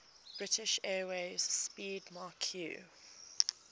british airways 'speedmarque